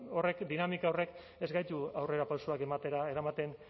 horrek dinamika horrek ez gaitu aurrerapausoak ematera eramaten